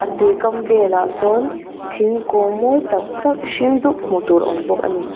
tuikam velah sawn thingkung mawi tak tak hring dup hmuhtur a awm bawk ani.